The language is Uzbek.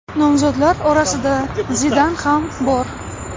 Nomzodlar orasida Zidan ham bor.